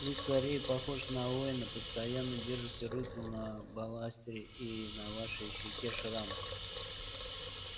вы скорее похожи на воина постоянно держите руку на баластере и на вашей щеке шрам